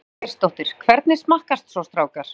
Ingveldur Geirsdóttir: Hvernig smakkast svo strákar?